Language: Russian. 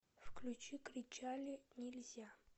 включи кричали нельзя